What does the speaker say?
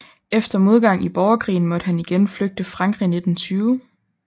Efter modgang i borgerkrigen måtte han igen flygte Frankrig 1920